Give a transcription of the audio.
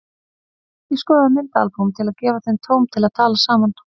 Ég skoðaði myndaalbúm til að gefa þeim tóm til að tala saman.